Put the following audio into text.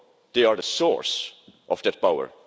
law, they are the source of that power.